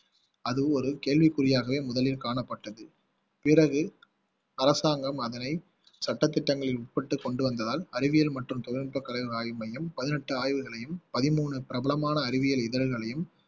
அது ஒரு கேள்விக்குறியாகவே முதலில் காணப்பட்டது பிறகு அரசாங்கம் அதனை சட்ட திட்டங்களில் உட்பட்டு கொண்டு வந்ததால் அறிவியல் மற்றும் தொழில்நுட்பகளின் ஆய்வு மையம் பதினெட்டு ஆய்வுகளை பதிமூணு பிரபலமான அறிவியல் இதழ்களையும்